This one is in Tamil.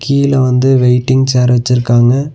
கிழ வந்து வெய்ட்டிங் சேர் வச்சிருக்காங்க.